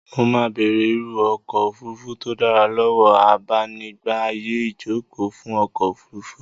Mo máa bèrè irú ọkọ òfurufu tó dára lọ́wọ́ abanigba ààyè ìjókòó fún ọkọ̀-ofurufú.